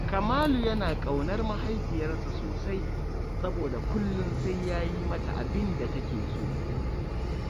Kamalu yana ƙaunar mahaifiyarsa sosai, soboda kullum sai ya yi mata abin da take so